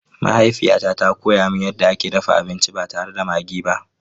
Mahaifiyata ta koya min yadda ake dafa abinci ba tare da maggi ba.